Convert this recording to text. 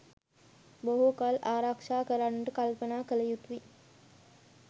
බොහෝ කල් ආරක්‍ෂා කරන්ට කල්පනා කළ යුතුයි.